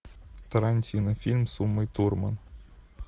тарантино фильм с умой турман